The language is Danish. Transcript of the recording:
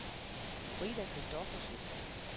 Frida Christoffersen